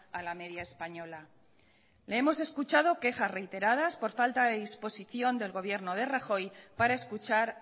a la media española le hemos escuchado quejas reiteradas por falta de disposición del gobierno de rajoy para escuchar